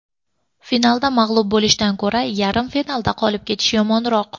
Finalda mag‘lub bo‘lishdan ko‘ra, yarim finalda qolib ketish yomonroq.